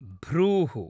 भ्रूः